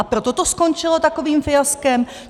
A proto to skončilo takovým fiaskem.